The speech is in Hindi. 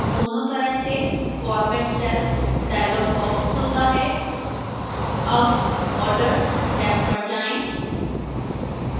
दोनों तरह से format cells dialog box खुलता है अब borders टैब पर जाएं